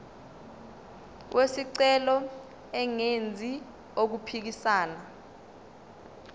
wesicelo engenzi okuphikisana